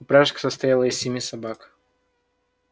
упряжка состояла из семи собак